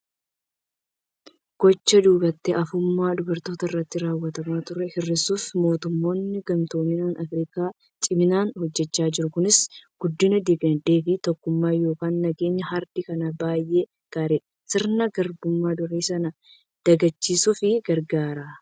Gochaa duubatti hafummaa dubartoota irratti raawwatamaa ture hir'isuuf mootummoonni gamtooman Afirikaa ciminaan hojjechaa jiru. Kunis guddina dinagdee fi tokkummaa yookiin nageenya ardii kanaaf baay'ee gaariidha! Sirna Garbummaa durii sana dagachiisuuf gargaara.